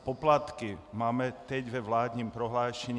Poplatky máme teď ve vládním prohlášení.